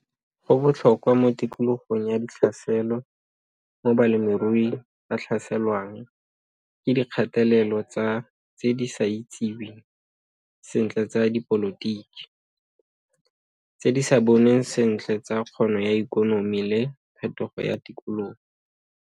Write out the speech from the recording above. Go botlhokwa mo tikologong ya ditlhaselo mo balemirui ba tlhaselwang ke dikgatelelo tsa tse di sa itsiweng sentle tsa dipolotiki, tse di sa bonweng sentle tsa kgono ya ekonomi le phetogo ya tikologo.